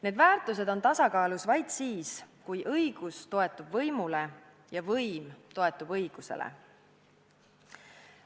Need väärtused on tasakaalus vaid siis, kui õigus toetub võimule ja võim toetub õigusele.